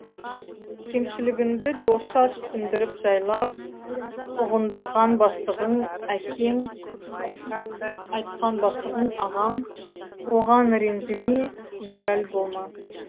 кемшілігінді досша түсіндіріп жайлап ұғындырған бастығың әкең ұрсып айтқан бастығың ағаң оған ренжіме мөләл болма